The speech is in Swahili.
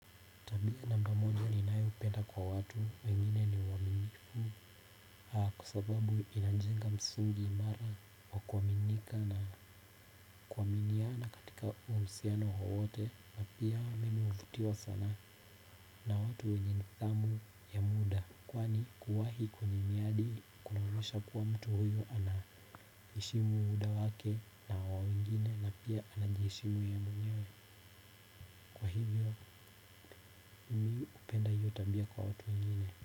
Tabia namba moja ninayopenda kwa watu wengine ni uwaminifu kwa sababu inanjenga msingi imara kwa kuaminika na kuaminiana katika uhusiano wowote na pia mimi huvutiwa sana na mtu mwenye nidhamu ya muda kwani kuwahi miadi kunaonyesha mtu huyu anaheshimu muda wake na wa wengine na pia anajiheshimu yeye mwenyewe kwa hivo mimi hupenda io tabia kwa watu wengine.